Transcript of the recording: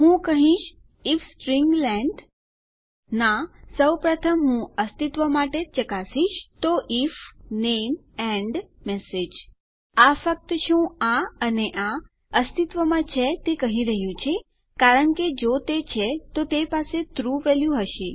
હું કહીશ if string length ના સૌપ્રથમ હું અસ્તિત્વ માટે ચકાશીશ તો આઇએફ નામે એન્ડ મેસેજ આ ફક્ત શું આ અને આ અસ્તિત્વમાં છે તે કહી રહ્યું છે કારણ કે જો તે છે તો તે પાસે ટ્રુ વેલ્યુ હશે